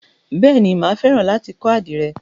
Bèéni, máa fẹ́ràn láti kọ́ àdìrẹ.